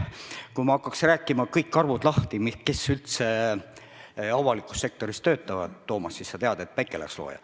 Kui ma hakkaks rääkima kõigi avalikus sektoris töötajate arve lahti, Toomas, siis sa tead, et päike läheks enne looja.